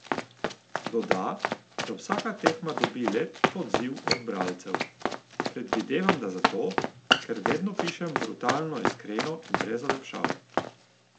Doda, da vsaka tema dobi lep odziv od bralcev: "Predvidevam, da zato, ker vedno pišem brutalno iskreno in brez olepšav.